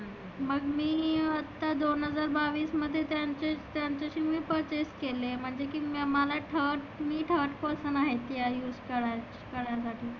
मग मी त्या दोन हजार बाविस मध्ये त्याचे त्याच्याशी मग purchase केले. म्हटले की मला third मी third person आहे. त्याला use करा करायचे.